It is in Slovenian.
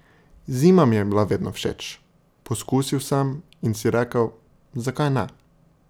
Zima mi je bila vedno všeč, poskusil sem in si rekel, zakaj ne.